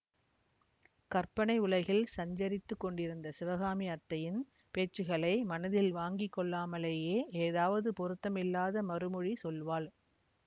கற்பனை உலகில் சஞ்சரித்துக் கொண்டிருந்த சிவகாமி அத்தையின் பேச்சுக்களை மனத்தில் வாங்கி கொள்ளாமலேயே ஏதாவது பொருத்தமில்லாத மறுமொழி சொல்வாள்